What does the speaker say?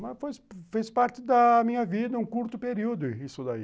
Mas fez parte da minha vida, um curto período isso daí.